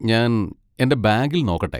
ഞാൻ എന്റെ ബാഗിൽ നോക്കട്ടെ.